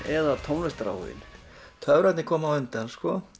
eða tónlistaráhuginn töfrarnir komu á undan